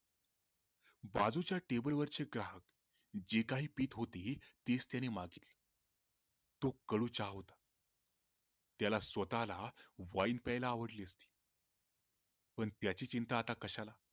बाजूच्या TABLE वरचे ग्राहक जे काही पित होते तेच त्याने मागविले तो कडू चहा होता त्याला स्वतःला वाइन प्यायला आवडली असती पण त्याची चिंता आता कशाला